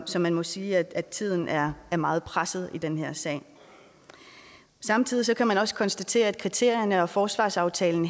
så man må sige at tiden er meget presset i den her sag samtidig kan man også konstatere at kriterierne og forsvarsaftalen